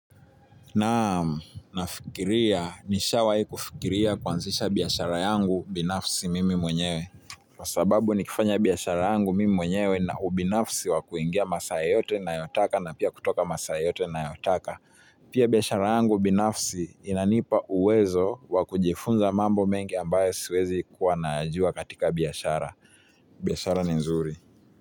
Naam nafikiria nishawahi kufikiria kuanzisha biashara yangu binafsi mimi mwenyewe kwa sababu nikifanya biashara yangu mimi mwenyewe nina ubinafsi wa kuingia masaa yoyote nayo taka na pia kutoka masaa yoteyote nayo taka pia biashara yangu binafsi inanipa uwezo wa kujifunza mambo mengi ambayo siwezi kuwa nayajua katika biashara. Biashara ni nzuri.